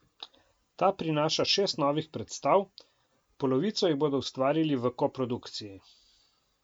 Ta prinaša šest novih predstav, polovico jih bodo ustvarili v koprodukciji.